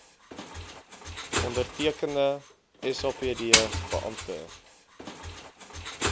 ondertekende sapd beampte